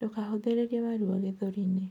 Ndukahuthiririe maruo gĩthũri-ini